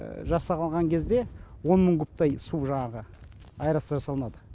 жасап алған кезде он мың кубтай су жаңағы аэрация жасалынады